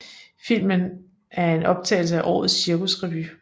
Filmen er en optagelse af årets cirkusrevy